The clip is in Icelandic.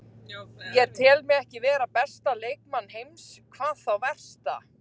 Ég tel mig ekki vera besta leikmann heims, hvað þá versta.